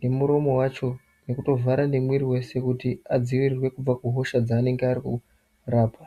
nemuromo wacho kutovhara nemwiri wese kuti antu adziirirwe kubva kuhosha dzeanenge arikurapwa.